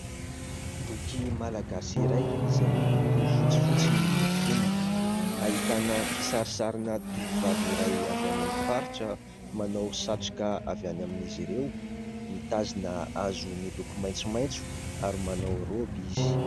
Boky malagasy iray, izay miloko fotsifotsy ny fonony. Ahitana kisarisarina tovovavy iray avy any amin'ny faritra manao satroka avy any amin'izy ireo, mitazona hazo miloko maitsomaitso ary manao raoby izy.